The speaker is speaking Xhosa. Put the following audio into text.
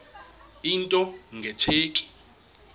into nge tsheki